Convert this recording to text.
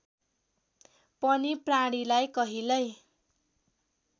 पनि प्राणीलाई कहिल्यै